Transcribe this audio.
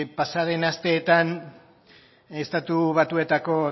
pasaden asteetan estatu batuetako